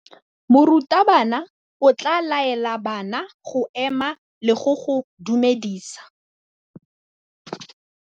Morutabana o tla laela bana go ema le go go dumedisa.